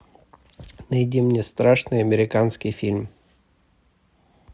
найди мне страшный американский фильм